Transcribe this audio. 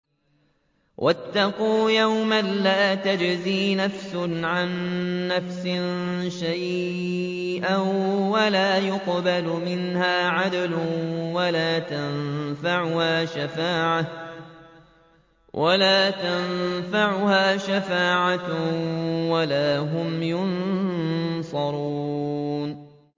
وَاتَّقُوا يَوْمًا لَّا تَجْزِي نَفْسٌ عَن نَّفْسٍ شَيْئًا وَلَا يُقْبَلُ مِنْهَا عَدْلٌ وَلَا تَنفَعُهَا شَفَاعَةٌ وَلَا هُمْ يُنصَرُونَ